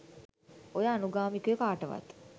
ඔය අනුගාමිකයො කාටවත්